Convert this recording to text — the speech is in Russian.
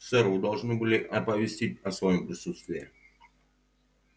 сэр вы должны были оповестить о своём присутствии